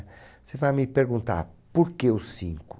Você vai me perguntar, por que os cinco?